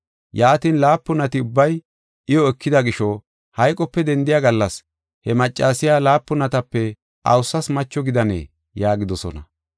Yaatin, laapunati ubbay iyo ekida gisho, hayqope dendiya gallas, he maccasiya laapunatape awusas macho gidanee?” yaagidosona.